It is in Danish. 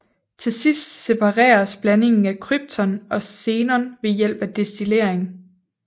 Til sidst separeres blandingen af krypton og xenon ved hjælp af destillering